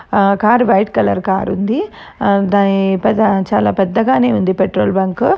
ఆ car white colour car ఉంది. దాన్ని పెద చాలా పెద్దగానే ఉంది పెట్రోల్ బంకు .